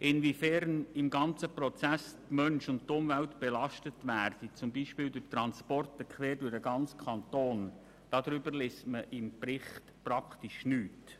Hingegen liest man im Bericht praktisch nichts darüber, inwiefern Mensch und Umwelt im ganzen Prozess belastet werden, beispielsweise durch Transporte quer durch den ganzen Kanton.